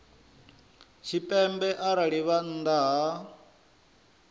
tshipembe arali vha nnḓa ha